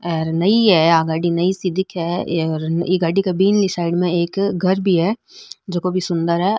ये नई हैआ गाड़ी नई सी दिखे है ई गाड़ी के बीनली साईड में एक घर भी है जको भी सुन्दर है।